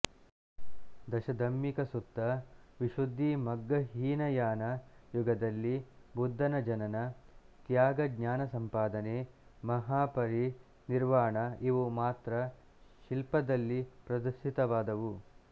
Dasadhammikasutta Visuddhimagga Hinayana ಯುಗದಲ್ಲಿ ಬುದ್ಧನ ಜನನ ತ್ಯಾಗ ಜ್ಞಾನಸಂಪಾದನೆ ಮಹಾಪರಿ ನಿರ್ವಾಣ ಇವು ಮಾತ್ರ ಶಿಲ್ಪದಲ್ಲಿ ಪ್ರದರ್ಶಿತವಾದವು